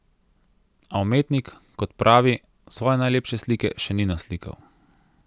A umetnik, kot pravi, svoje najlepše slike še ni naslikal.